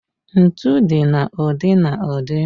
Ntu dị na ụdị na ụdị.